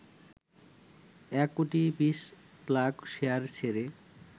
১ crore ২০ lakh share ছেড়ে